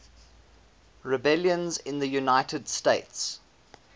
rebellions in the united states